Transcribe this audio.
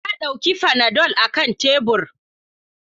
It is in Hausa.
Na dauki fanadol akan tebur.